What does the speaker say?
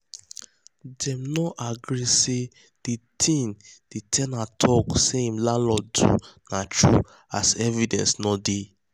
dem no agree say the thing the ten ant talk say hin landlord do na true as evidence no dey.